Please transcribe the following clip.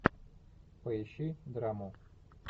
поищи драму